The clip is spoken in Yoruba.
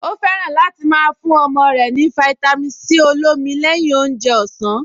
Ó fẹ́ràn láti máa fún ọmọ rẹ̀ ní fáítámì Sí olómi lẹ́yìn oúnjẹ ọ̀sán